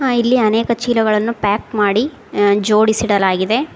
ಇಲ್ಲಿ ಅನೇಕ ಚೀಲಗಳನ್ನು ಪ್ಯಾಕ್ ಮಾಡಿ ಜೋಡಿಸಿ ಇಡಲಾಗಿದೆ.